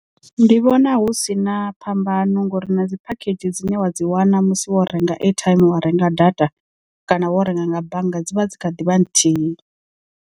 Ndi vhona hu sina phambano ngori na dzi phakhedzhi dzine wa dzi wana musi wo renga airtime wa renga data kana wo renga nga bannga dzi vha dzi kha ḓivha nthihi.